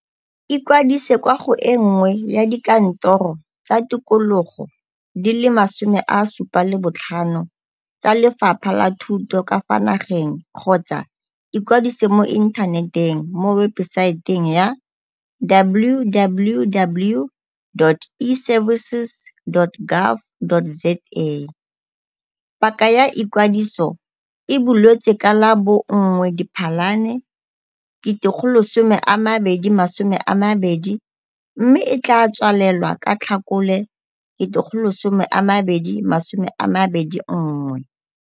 Ikwadise kwa go e nngwe ya dikantoro tsa tikologo di le 75 tsa Lefapha la Thuto ka fa nageng kgotsa ikwadise mo inthaneteng mo webesaeteng ya - www.eservices.gov. za. Paka ya ikwadiso e buletswe ka la bo 1 Diphalane 2020 mme e tla tswalelwa ka Tlhakole 2021.